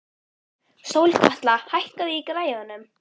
Sólkatla, hækkaðu í græjunum.